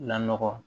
Lɔgɔ